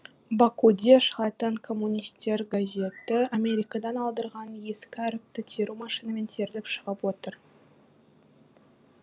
бакуде шығатын коммунистер газеті америкадан алдырған ескі әріпті теру машинамен теріліп шығып отыр